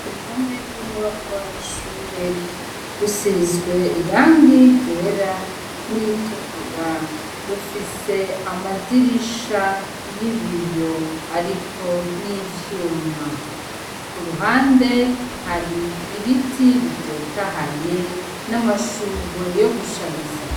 uruhome rw'inyubakwa y’ishure rusizwe irangi ryera n'iritukura rufise amadirisha y'ibiyo ariko n'ivyuma, ku ruhande hari ibiti bitotahaye n'amashurwe yo gushariza.